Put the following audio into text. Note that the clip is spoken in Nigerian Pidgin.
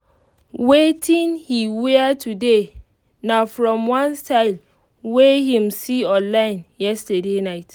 wetin he wear today na from one style wey him see online yesterday night.